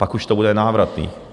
Pak už to bude nenávratné.